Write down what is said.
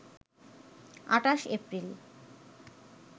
২৮ April